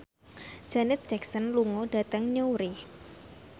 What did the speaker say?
Janet Jackson lunga dhateng Newry